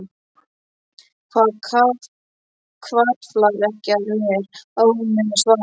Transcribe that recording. Það hvarflar ekki að mér að hún muni svara.